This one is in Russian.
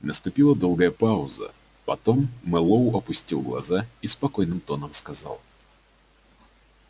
наступила долгая пауза потом мэллоу опустил глаза и спокойным тоном сказал